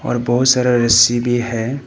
और बहुत सारा रस्सी भी है।